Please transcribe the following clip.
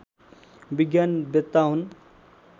विज्ञान वेत्ता हुन्